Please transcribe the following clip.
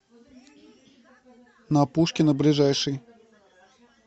на пушкина ближайший